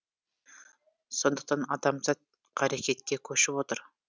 сондықтан адамзат қарекетке көшіп отыр